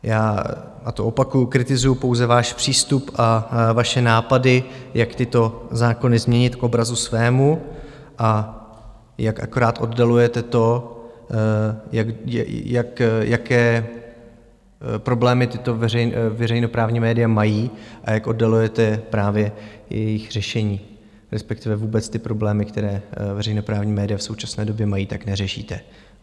Já, a to opakuji, kritizuji pouze váš přístup a vaše nápady, jak tyto zákony změnit k obrazu svému a jak akorát oddalujete to, jaké problémy tato veřejnoprávní média mají a jak oddalujete právě jejich řešení, respektive vůbec ty problémy, které veřejnoprávní média v současné době mají, tak neřešíte.